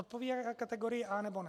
Odpovídá kategorii A, nebo ne?